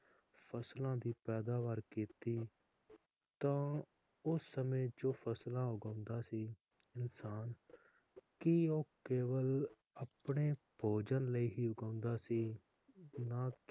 ਫਸਲਾਂ ਦੀ ਪੈਦਾਵਾਰ ਕੀਤੀ ਤਾ ਉਸ ਸਮੇ ਜੋ ਫਸਲਾਂ ਉਗਾਉਂਦਾ ਸੀ ਇਨਸਾਨ ਕਿ ਉਹ ਕੇਵਲ ਆਪਣੇ ਭੋਜਨ ਲਾਇ ਹੀ ਉਗਾਉਂਦਾ ਸੀ ਨਾ